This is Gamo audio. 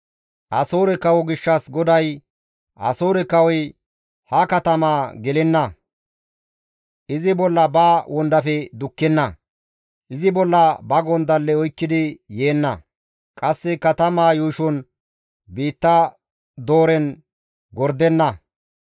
«Asoore kawo gishshas GODAY, ‹Asoore kawoy ha katamaa gelenna; izi bolla ba wondafe dukkenna; izi bolla ba gondalle oykkidi yeenna; qasse katamaa yuushon biitta dooren gordenna.